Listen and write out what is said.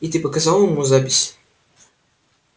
и ты показал ему запись